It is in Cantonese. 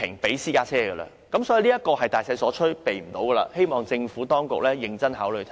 由此可見，這是大勢所趨，無法避免，我希望政府認真考慮我剛才的觀點。